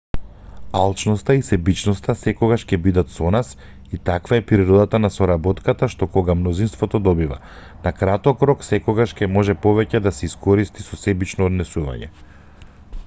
алчноста и себичноста секогаш ќе бидат со нас и таква е природата на соработката што кога мнозинството добива на краток рок секогаш ќе може повеќе да се искористи со себично однесување